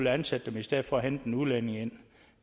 ansætte dem i stedet for at hente en udlænding ind